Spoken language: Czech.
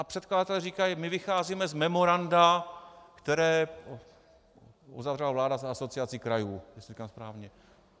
A předkladatel říká: my vycházíme z memoranda, které uzavřela vláda s Asociací krajů - jestli to říkám správně.